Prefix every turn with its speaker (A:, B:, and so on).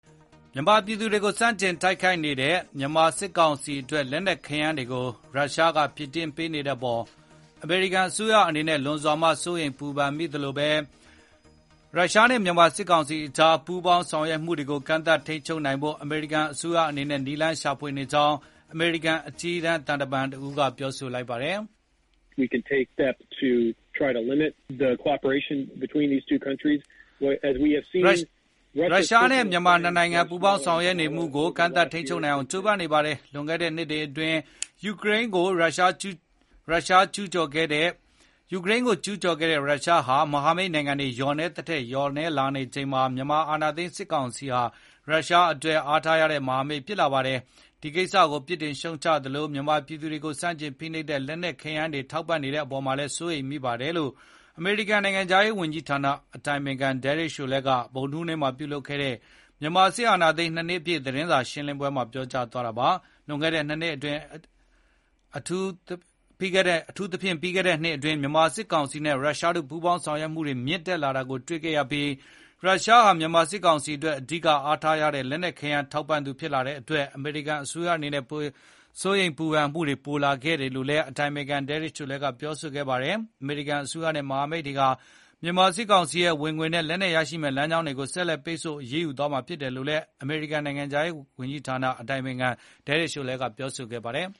A: မြန်မာပြည်သူတွေကိုဆန့်ကျင်တိုက်ခိုက်နေတဲ့ မြန်မာစစ်ကောင်စီအတွက် လက်နက်ခဲယမ်းတွေကို ရုရှားကဖြည့်တင်းပေးနေတဲ့အပေါ် အမေရိကန်အစိုးရအနေနဲ့လွန်စွာမှ စိုးရိမ်ပူပန်မိသလို ရုရှားနဲ့မြန်မာစစ်ကောင်စီကြား ပူးပေါင်းဆောင်ရွက်မှုတွေကို ကန့်သတ်ထိန်းချုပ်နိုင်ဖို့ အမေရိကန်အစိုးရအနေနဲ့ နည်းလမ်းရှာဖွေနေကြောင်း အမေရိကန် အကြီးတန်းသံတမန်တယောက်က ပြောလိုက်ပါတယ်။
B: “ ရုရှားနဲ့မြန်မာနှစ်
A: နိုင်ငံပူးပေါင်းဆောင်ရွက်နေမှုကိုကန့်သတ်ထိန်းချုပ်နိုင်အောင် ကြိုးပမ်းနေပါတယ်။ လွန်ခဲ့တဲ့နှစ်တွေအတွင်း ယူကရိန်းကိုကျူးကျော်ခဲ့တဲ့ရုရှားဟာ မဟာမိတ်နိုင်ငံတွေ လျော့နည်းသည်ထက် လျော့နည်းလာနေချိန်မှာ မြန်မာအာဏာသိမ်းစစ်ကောင်စီဟာ ရုရှားအတွက်အားထားရတဲ့ မဟာမိတ်ဖြစ်လာပါတယ်။ ဒီကိစ္စကို ပစ်တင်ရှုတ်ချသလို မြန်မာပြည်သူတွေကိုဆန့်ကျင်ဖိနှိပ်တဲ့လက်နှက်တွေ၊ ခဲယမ်းတွေထောက်ပံ့နေတဲ့ပေါ်မှာလည်း စိုးရိမ်မိပါတယ်။” လို့ အမေရိကန်နိုင်ငံခြားရေးဝန်ကြီးဌာန အတိုင်ပင်ခံ Derek Chollet က ဗုဒ္ဓဟူးနေ့မှာပြုလုပ်ခဲ့တဲ့ မြန်မာစစ်အာဏာသိမ်း ၂ နှစ်ပြည့်သတင်း စာရှင်းလင်းပွဲမှာပြောကြားသွားတာပါ။ လွန်ခဲ့တဲ့ ၂ နှစ်အတွင်း အထူးဖြင့်ပြီးခဲ့တဲ့နှစ်အတွင်း မြန်မာစစ်ကောင်စီနဲ့ရုရှားတို့ပူးပေါင်းဆောင်ရွက်မှု တွေမြင့်တက် လာတာကိုတွေ့မြင်ခဲ့ရပြီး ရုရှားဟာ မြန်မာစစ်ကောင်စီအတွက်အဓိကအားထားရတဲ့ လက်နှက်ခဲယမ်းထောက်ပံ့သူဖြစ်လာတဲ့အတွက် အမေရိကန်အနေနဲ့စိုးရိမ်ပူပန်မှုတွေပိုများလာခဲ့ပါတယ်လို့လည်း အတိုင်ပင်ခံ Chollet ကပြော ဆိုခဲ့ပါတယ်။ အမေရိကန်အစိုးရနဲ့မဟာမိတ်တွေဟာ မြန်မာစစ်ကောင်စီရဲ့ဝင်ငွေနဲ့ လက်နက်ရရှိမယ့်လမ်းကြောင်းတွေကို ဆက်လက်ပိတ်ဆို့ အရေးယူသွားမှာဖြစ်တယ်လို့ အမေရိကန်နိုင်ငံခြားရေးဌာနအတိုင်ပင်ခံ Derek Chollet ကပြောဆိုခဲ့ပါတယ်